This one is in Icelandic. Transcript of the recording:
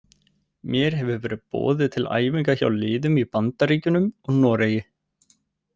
Mér hefur verið boðið til æfinga hjá liðum í Bandaríkjunum og Noregi.